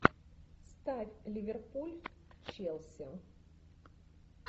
ставь ливерпуль челси